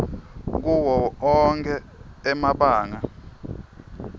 kuwo onkhe emabanga